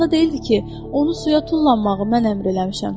Yadında deyildi ki, onu suya tullanmağı mən əmr eləmişəm.